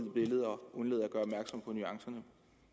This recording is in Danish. nuancerne